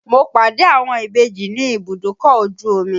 Mo pàdé àwọn ìbejì ní ibùdókọ̀ ojú omi